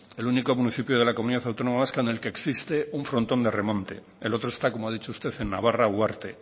el único municipio de la comunidad autónoma vasca en el que existe un frontón de remonte el otro está como ha dicho usted en navarra uharte